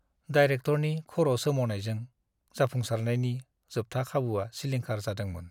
डायरेक्टरनि खर' सोमावनायजों जाफुंसारनायनि जोबथा खाबुआ सिलिंखार जादोंमोन।